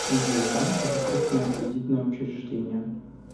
джой банк это крупное кредитное учреждение